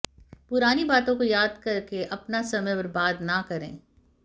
पुरानी बातों को याद करके अपना समय बर्बाद न करें